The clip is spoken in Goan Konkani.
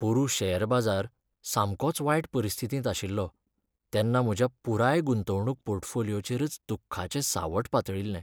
पोरूं शॅर बाजार सामकोच वायट परिस्थितींत आशिल्लो, तेन्ना म्हज्या पुराय गुंतवणूक पोर्टफोलियोचेरच दुख्खाचें सावट पातळिल्लें.